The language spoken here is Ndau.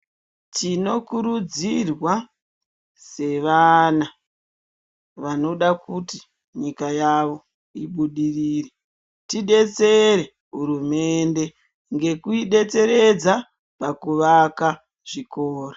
Tinokurudzirwa sevana vanoda kuti nyika yawo ibudirire tidetsere hurumende ngekuidetseredza pakuvaka zvikora.